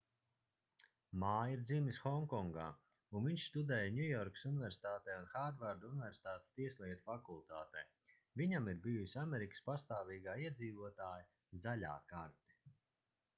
mā ir dzimis honkongā un viņš studēja ņujorkas universitātē un hārvarda universitātes tieslietu fakultātē viņam ir bijusi amerikas pastāvīgā iedzīvotāja zaļā karte